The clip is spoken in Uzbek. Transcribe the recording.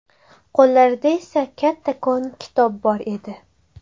Qo‘llarida esa kattakon kitob bor edi.